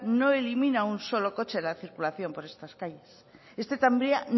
no elimina un solo coche de la circulación por estas calles este tranvía